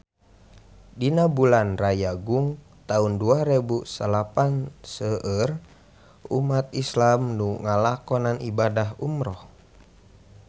Dina bulan Rayagung taun dua rebu salapan seueur umat islam nu ngalakonan ibadah umrah